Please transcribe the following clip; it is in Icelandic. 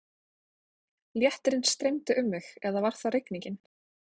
Léttirinn streymdi um mig eða var það rigningin?